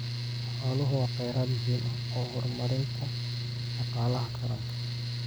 Xooluhu waa kheyraad muhiim u ah horumarinta dhaqaalaha qaranka.